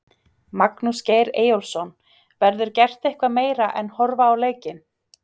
Magnús Geir Eyjólfsson: Verður gert eitthvað meira en horfa á leikinn?